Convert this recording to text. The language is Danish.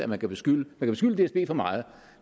man kan beskylde dsb for meget